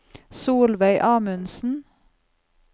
Solveig Amundsen